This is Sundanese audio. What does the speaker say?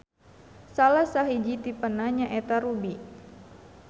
Salah sahiji tipena nyaeta ruby.